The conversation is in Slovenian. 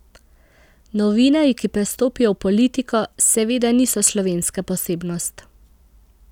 Novinarji, ki prestopijo v politiko, seveda niso slovenska posebnost.